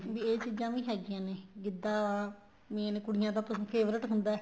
ਵੀ ਇਹ ਚੀਜ਼ਾਂ ਵੀ ਹੈਗੀਆਂ ਨੇ ਗਿੱਧਾ main ਕੁੜੀਆਂ ਦਾ ਕਿਉਂਕਿ favorite ਹੁੰਦਾ ਏ